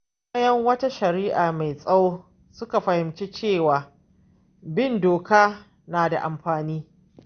Bayan wata shari’a mai tsawo, suka fahimci cewa bin doka na da amfani.